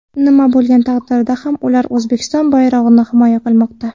Nima bo‘lgan taqdirda ham ular O‘zbekiston bayrog‘ini himoya qilmoqda.